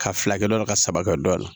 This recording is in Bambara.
Ka filakɛ dɔ ka saba kɛ dɔ la